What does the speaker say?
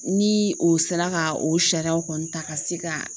Ni o sera ka o sariyaw kɔni ta ka se ka